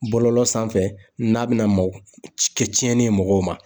Bɔlɔlɔ sanfɛ n'a be na kɛ tiɲɛni ye mɔgɔw ma.